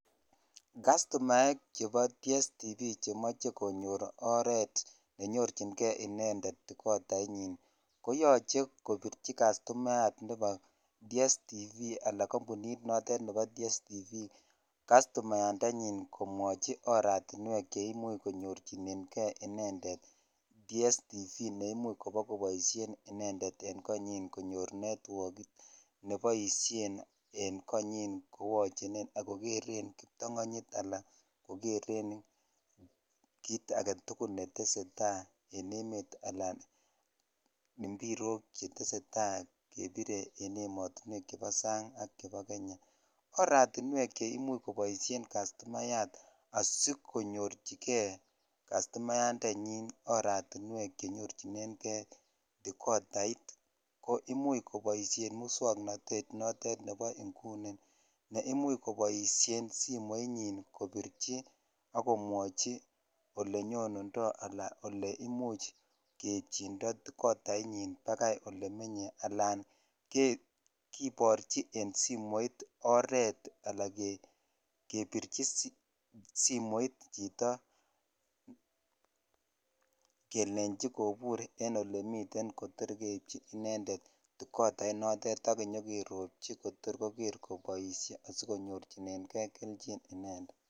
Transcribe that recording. kastomaek chebo digital satellite television chemoche konyoor oret chenyorchingee inendet kotait nyin koyoche kobirchi kastomayaat nebo digital satellite television anan kampuniit noteet nebo digital satellite television kastomayaat ndenyiin komwochi oratinweek cheimuch konyorchinen gee inendet digital satellite television neimuch kobogoboishen inendet en konyiin konyoor netwook neboishen en konyiin ak kogereen kiptanganyiit anan kogereen kiiit agetugul netesetai en emet anan mpirook chetesetai kebire en emotinweek chebo saang ak chebo kenya, oratinweek cheimuch koboishen kastomayaat asigonyorchige kastomyaat ndenyiin oratinweek chenyorchinen gee dekodait koimuch koboishen muswongnotet noteet nebo inguni neimuch koboishe simoit nyiin kobirchi ak komwochi olenyondundoo alan oleimuch keitchindo dekodait nyiin bagaai olemenye alaak kiborchi en simoit oreet, alaan kebirchi simoit chito kelenchi kobuur en olemiten kotor keibchi inendet dekodait noteet ak kerobchi kotor kogeer koboishe asigonyorchinegee kelchin inendet.